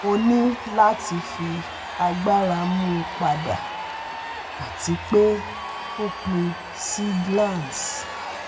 mo ni lati fi agbara mu pada ati pe o pin si glans